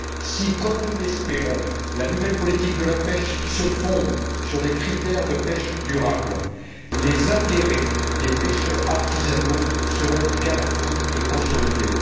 Si, comme nous l'espérons, la nouvelle politique de la pêche se fonde sur des critères de pêche durable, les intérêts des pêcheurs artisanaux seront garantis et consolidés.